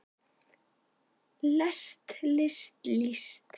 lest list líst